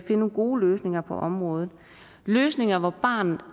nogle gode løsninger på området løsninger hvor barnet